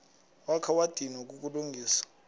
wakha wadinwa kukulungisa